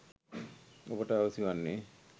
ඔබට අවැසි වන්නෙ